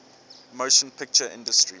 motion picture industry